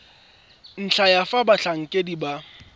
ntlha ya fa batlhankedi ba